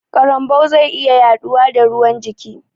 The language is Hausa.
Karambau zai iya yaɗuwa da ruwan jiki